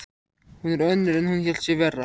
Hún er önnur en hún hélt sig vera.